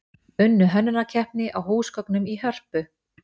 Unnu hönnunarkeppni á húsgögnum í Hörpu